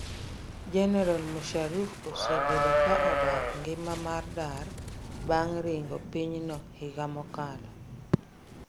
General Musharraf osebedo kaa odak ngima mar dar bang' ringo pinyne higa mokalo